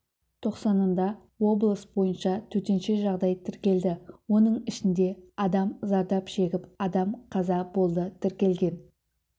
тоқсанында облыс бойынша төтенше жағдай тіркелді оның ішінде адам зардап шегіп адам қаза болды тіркелген